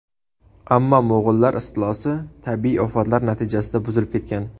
Ammo mo‘g‘ullar istilosi, tabiiy ofatlar natijasida buzilib ketgan.